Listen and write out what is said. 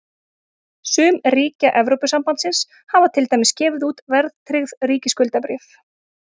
Sum ríkja Evrópusambandsins hafa til dæmis gefið út verðtryggð ríkisskuldabréf.